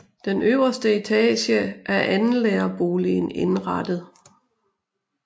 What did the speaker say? Den øverste etage er andenlærerboligen indrettet